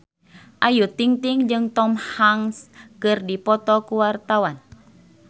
Ayu Ting-ting jeung Tom Hanks keur dipoto ku wartawan